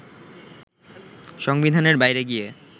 সংবিধানের বাইরে গিয়ে